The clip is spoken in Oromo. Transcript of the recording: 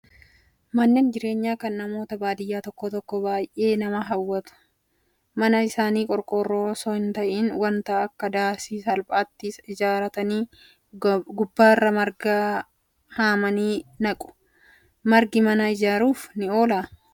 Manneen jireenyaa kan namoota baadiyyaa tokko tokkoo baay'ee nama hawwata. Mana isaanii qorqoorroo osoo hin ta'iin wanta akka daasii salphaatti ijaarratanii gubbaarra marga haamanii naqu. Margi mana ajjeeruuf ni oolaa?